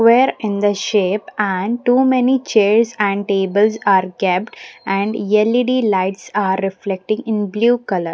where in the shape and too many chairs and tables are kept and L_E_D lights are reflecting in blue colour.